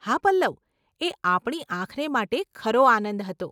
હા પલ્લવ, એ આપણી આંખને માટે ખરો આનંદ હતો.